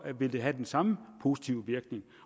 vil have den samme positive virkning